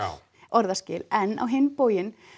orðaskil en á hinn bóginn